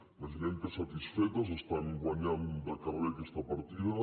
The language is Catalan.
imaginem que satisfetes estan guanyant de carrer aquesta partida